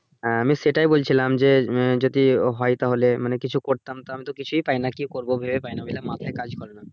হ্যাঁ আমি সেটাই বলছিলাম যে আহ যদি হয় তাহলে মানে কিছু করতাম তা আমি তো কিছুই পাই না কি করব ভেবে পাই না বলে মাথাই কাজ করে না।